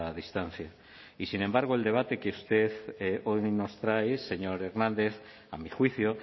distancia y sin embargo el debate que usted hoy nos trae señor hernández a mi juicio